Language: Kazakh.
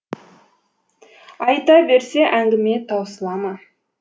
айта берсе әңгіме таусыла ма